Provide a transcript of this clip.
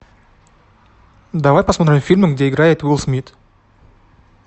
давай посмотрим фильмы где играет уилл смит